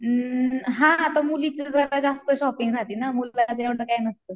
अम्म हा पण मुलीची जरा जास्त शॉपिंग राहती ना, मुलाचं एव्हडं काही नसत.